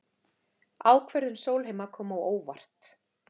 Ákvörðun Sólheima kom á óvart